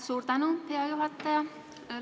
Suur tänu, hea juhataja!